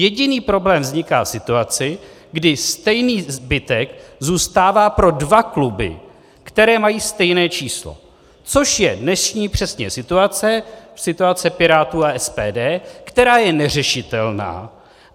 Jediný problém vzniká v situaci, kdy stejný zbytek zůstává pro dva kluby, které mají stejné číslo, což je přesně dnešní situace, situace Pirátů a SPD, která je neřešitelná.